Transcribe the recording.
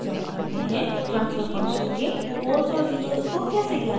* transfer function के poles और zeros को कैसे ज्ञात करते हैं